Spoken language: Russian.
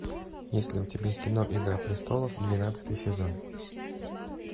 есть ли у тебя кино игра престолов двенадцатый сезон